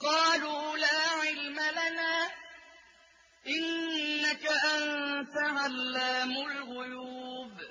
قَالُوا لَا عِلْمَ لَنَا ۖ إِنَّكَ أَنتَ عَلَّامُ الْغُيُوبِ